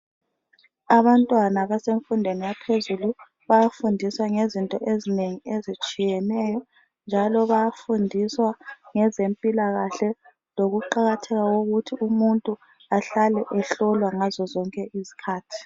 Abantwana basenfundweni yaphezulu , bayafundiswa ngezinto ezinengi ezitshiyeneyo. Njalo bayafundiswa ngezempilakahle lokuqakatheka kokuthi umuntu ahlale ehlolwa ngazo zonke izikhathi.